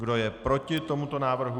Kdo je proti tomuto návrhu?